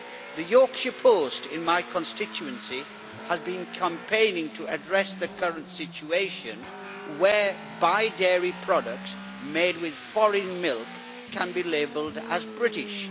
The Yorkshire Post in my constituency has been campaigning to address the current situation whereby dairy products made with foreign milk can be labelled as British.